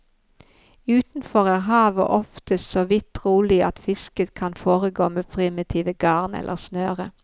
Utenfor er havet oftest såvidt rolig at fisket kan foregå med primitive garn eller snøre.